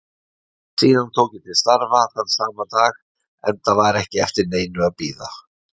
Síðan tók ég til starfa þann sama dag enda var ekki eftir neinu að bíða.